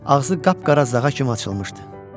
Ağzı qapqara zağa kimi açılmışdı.